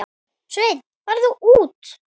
Sveinn farinn út?